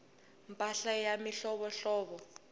mpahla ya mihlovohlovo